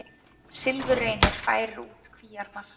Silfurreynir færir út kvíarnar